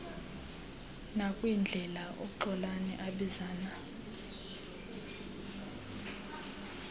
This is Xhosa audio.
nakwindlela uxolani abizana